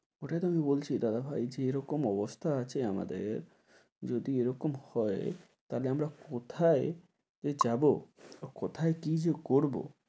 ওটাই তো আমি বলছি দাদা ভাই, যেরকম অবস্থা আছে আমাদের যদি এরকম হয় তাহলে আমরা কোথায় যে যাব বা কোথায় কী যে করব।